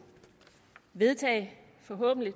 vedtage forhåbentlig